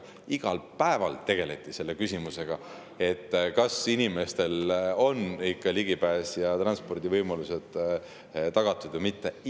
Iga päev tegeleti selle küsimusega, kas inimesed ikka ja kas transpordivõimalused on tagatud või mitte.